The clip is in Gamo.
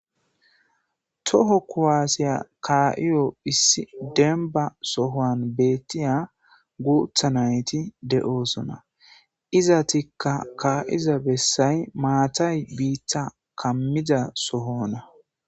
Toho kowaasiya kaa7iyo hissi denba sohoan beettiya guutha nayti de7oosona iza tikka kaa7iza bessay maatay biitta kammida sohona.